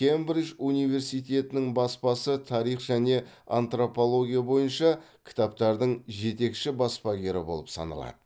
кембридж университетінің баспасы тарих және антропология бойынша кітаптардың жетекші баспагері болып саналады